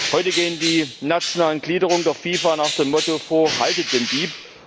Heute gehen die nationalen Gliederungen der FIFA nach dem Motto vor Haltet den Dieb!